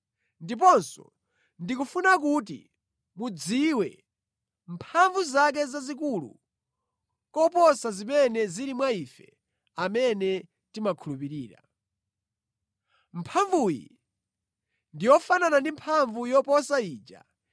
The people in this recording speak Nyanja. Ndiponso ndikufuna kuti mudziwe mphamvu zake zazikulu koposa zimene zili mwa ife amene timakhulupirira. Mphamvuyi ndi yofanana ndi mphamvu yoposa ija